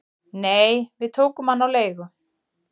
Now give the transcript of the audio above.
"""Nei, við tókum hann á leigu"""